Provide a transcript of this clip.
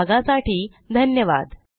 सहभागासाठी धन्यवाद